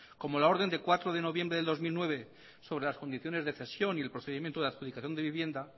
como la orden de cuatro de noviembre de dos mil nueve sobre las condiciones de cesión y el procedimiento de adjudicación de vivienda